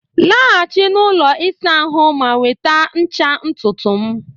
laghachi na ụlọ ịsa ahụ ma nweta ncha ntutu m